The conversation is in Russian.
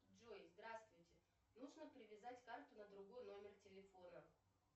джой здравствуйте нужно привязать карту на другой номер телефона